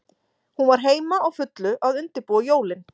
Hún var heima, á fullu að undirbúa jólin.